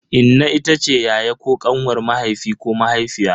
Inna itace yaya ko kanwar mahaifi ko mahaifiya.